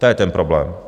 To je ten problém.